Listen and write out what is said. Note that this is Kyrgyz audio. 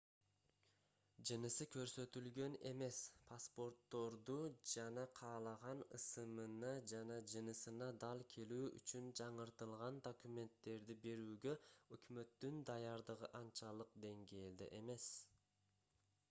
жынысы көрсөтүлгөн эмес х паспортторду жана каалаган ысымына жана жынысына дал келүү үчүн жаңыртылган документтерди берүүгө өкмөттүн даярдыгы анчалык деңгээлде эмес